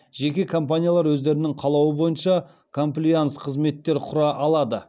жеке компаниялар өздерінің қалауы бойынша комплаенс қызметтер құра алады